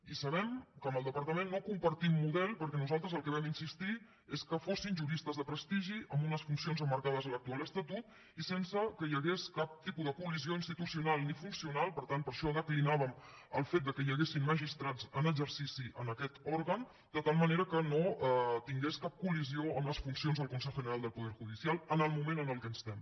i sabem que amb el departament no compartim model perquè nosaltres en el que vam insistir és que fossin juristes de prestigi amb unes funcions emmarcades a l’actual estatut i sense que hi hagués cap tipus de col·lisió institucional ni funcional per tant per això declinàvem el fet que hi haguessin magistrats en exercici en aquest òrgan de tal manera que no tingués cap colfuncions del consejo general del poder judicial en el moment en què estem